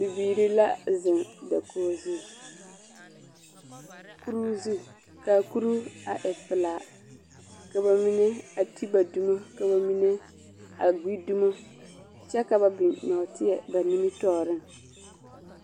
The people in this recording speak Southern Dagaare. Bibiiri la zeŋ dakogi zu. Kuree zu kaa kuruu a e pelaa. ka ba mine a te ba dumo ka ba mine a gbi dumo kyԑ ka ba biŋ nͻͻteԑ ba nimitͻͻreŋ.